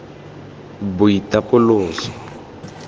boitapoloso